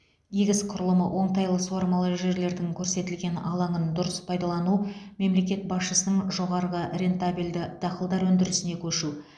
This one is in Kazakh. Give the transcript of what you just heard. егіс құрылымы оңтайлы суармалы жерлердің көрсетілген алаңын дұрыс пайдалану мемлекет басшысының жоғары рентабельді дақылдар өндірісіне көшу